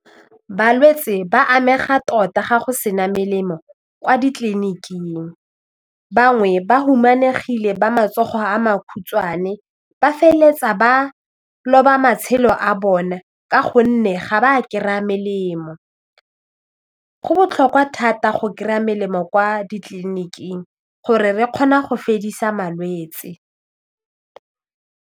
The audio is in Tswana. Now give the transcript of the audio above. Balwetse ba amega tota ga go se na melemo kwa ditliliniking bangwe ba humanegile ba matsogo a makhutshwane ba feleletsa ba loba matshelo a bone ka gonne ga ba kry-a melemo, go botlhokwa thata go kry-a melemo kwa ditliliniking gore re kgona go fedisa malwetse.